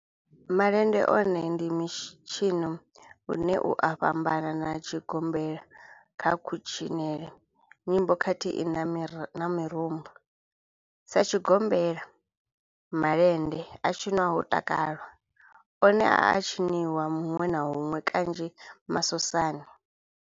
Malende one ndi mitshino une u a fhambana na tshigombela kha kutshinele, nyimbo khathihi na mirumba, Sa tshigombela, malende a tshinwa ho takalwa, one a a tshiniwa hunwe na hunwe kanzhi masosani.